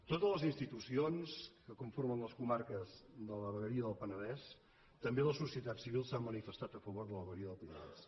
totes les institucions que conformen les comarques de la vegueria del penedès també la societat civil s’han manifestat a favor de la vegueria del penedès